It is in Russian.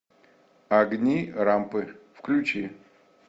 огни рампы включи